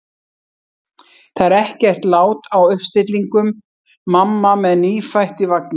Það er ekkert lát á uppstillingum: mamma með nýfætt í vagni.